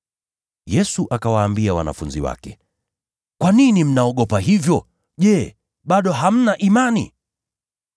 Yesu akawaambia wanafunzi wake, “Kwa nini mnaogopa hivyo? Je, bado hamna imani?”